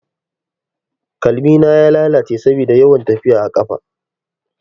Kalmina ya lalace saboda yawan tafiya a ƙafa.